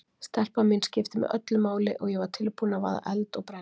Stelpan mín skipti mig öllu máli og ég var tilbúin að vaða eld og brenni